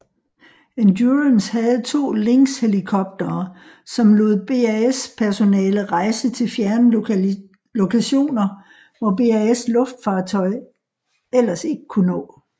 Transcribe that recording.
Endurance havde to Lynxhelikoptere som lod BAS personale rejse til fjerne lokationer hvor BAS luftfartøj ellers ikke kunne nå